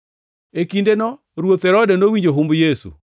E kindeno Ruoth Herode nowinjo humb Yesu,